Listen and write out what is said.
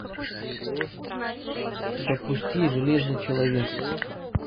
запусти железный человек